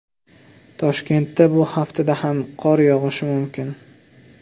Toshkentda bu haftada ham qor yog‘ishi mumkin.